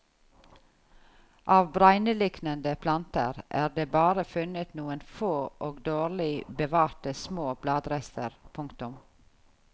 Av bregneliknende planter er det bare funnet noen få og dårlig bevarte små bladrester. punktum